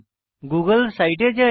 Google সাইটে যাই